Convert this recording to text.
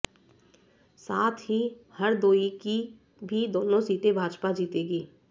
साथ ही हरदोई की भी दोनों सीटें भाजपा जीतेगी